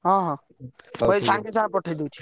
ହଁ ହଁ ମୁଁ ଏଇ ସାଙ୍ଗେ ସାଙ୍ଗେ ପଠେଇ ଦଉଛି।